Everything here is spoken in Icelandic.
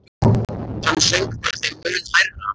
Hann söng bara þeim mun hærra.